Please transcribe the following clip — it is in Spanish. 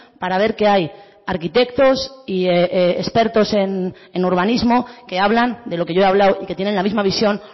para ver que hay arquitectos y expertos en urbanismo que hablan de lo que yo he hablado y que tienen la misma visión